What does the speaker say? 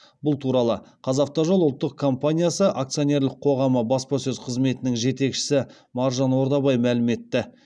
бұл туралы қазавтожол ұлттық компаниясы акционерлік қоғамы баспасөз қызметінің жетекшісі маржан ордабай мәлім етті